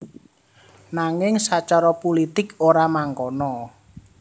Nanging sacara pulitik ora mangkono